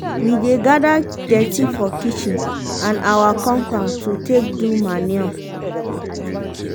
we dey gada dirty for kitchen and awa compound take do manure.